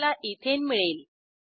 आपल्याला इथेन मिळेल